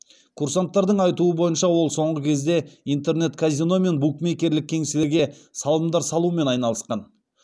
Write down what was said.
курсанттардың айтуы бойынша ол соңғы кезде интернет казино мен букмекерлік кеңселерге салымдар салумен айналысқан